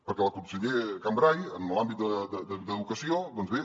perquè el conseller cambray en l’àmbit d’educació doncs bé